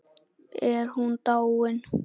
Er hún dáin?